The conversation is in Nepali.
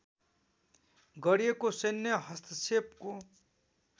गरिएको सैन्य हस्तक्षेपको